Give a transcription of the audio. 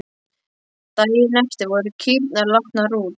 Daginn eftir voru kýrnar látnar út.